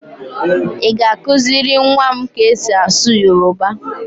Ị ga-akụziri nwa m ka e si asụ Yoroba?